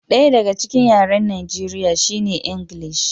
Ɗaya daga cikin yaren Najeriya shine Ingilishi.